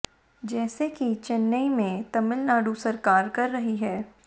जैसा कि चेन्नई में तमिलनाडु सरकार कर रही है